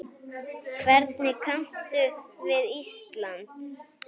Hvernig kanntu við Ísland?